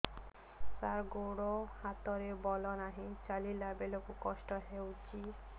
ସାର ଗୋଡୋ ହାତରେ ବଳ ନାହିଁ ଚାଲିଲା ବେଳକୁ କଷ୍ଟ ହେଉଛି